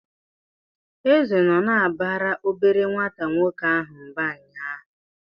Eze nọ na-abara obere nwata nwoke ahụ mba ụnyaahụ.